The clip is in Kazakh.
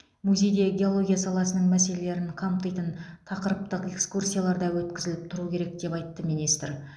музейде геология саласының мәселелері қамтитын тақырыптық экскурсиялар да өткізіп тұру керек деп айтты министр